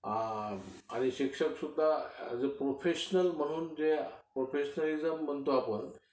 आणि शिक्षक सुद्धा एज अ प्रोफेशनल म्हणून म्हणजे जे प्रोफेशनॅलिझम म्हणतो आपण